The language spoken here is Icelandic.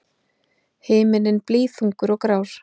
Himinninn blýþungur og grár.